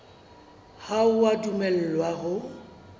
ha o a dumellwa ho